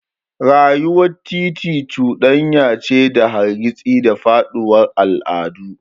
Rayuwar titi cuɗanya ce ta hargitsi da faɗuwar al'adu.